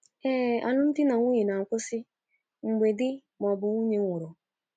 Ee, alụmdinanwunye na - akwụsị mgbe di ma ọ bụ nwunye nwụrụ.